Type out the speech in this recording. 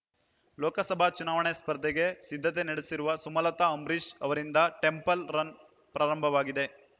ಲೋಕಸಭಾ ಚುನಾವಣೆ ಸ್ಪರ್ಧೆಗೆ ಸಿದ್ಧತೆ ನಡೆಸಿರುವ ಸುಮಲತಾ ಅಂಬರೀಶ್ ಅವರಿಂದ ಟೆಂಪಲ್ ರನ್ ಪ್ರಾರಂಭವಾಗಿದೆ